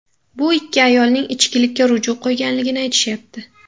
Bu ikki ayolning ichkilikka ruju qo‘yganligini aytishyapti.